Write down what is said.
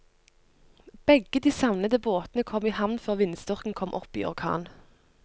Begge de savnede båtene kom i havn før vindstyrken kom opp i orkan.